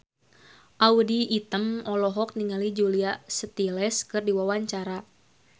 Audy Item olohok ningali Julia Stiles keur diwawancara